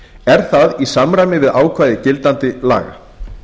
er það í samræmi við ákvæði gildandi laga